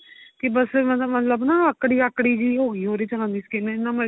ਕੀ ਬੱਸ ਮਤਲਬ ਨਾ ਆਕੜੀ ਆਕੜੀ ਜੀ ਹੋ ਗਈ skin ਜਿੰਨਾ ਮਰਜੀ